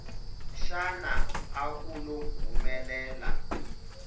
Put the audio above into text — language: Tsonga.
xana a ku lo humelela